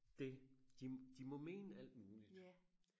det de de må mene alt muligt